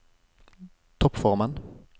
toppformen